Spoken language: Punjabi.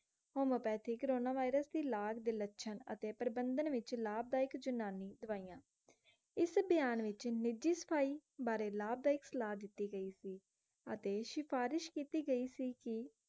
homeopathy ਕੋਰੋਨਾ virus ਦੀ ਲਾਜ, ਦੇ ਲਛਣ ਅਤੇ ਪਪ੍ਰਭੰਧਨ ਵਿੱਚ ਲਾਭਦਾਇਕ ਜੁਨਾਨੀ ਦਵਾਈਆਂ ਇਸ ਅਭਿਆਨ ਵਿੱਚ ਨਿੱਜੀ ਸਥੱਲ ਬਾਰੇ ਲਾਭਦਾਇਕ ਸਲਾਹ ਦਿੱਤੀ ਗਈ ਸੀ ਅਤੇ ਸਿਫਾਰਿਸ਼ ਕਿੱਤੀ ਗਈ ਸੀ ਕਿ